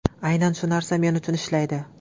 Aynan shu narsa men uchun ishlaydi.